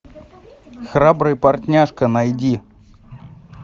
храбрый портняжка найди